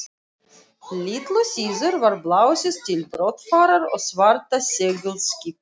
Litlu síðar var blásið til brottfarar og svarta seglskipið